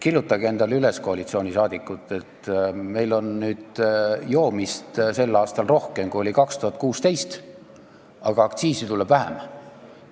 Kirjutage endale üles, koalitsioon, meil on sel aastal joomist rohkem, kui oli 2016, aga aktsiisi tuleb vähem.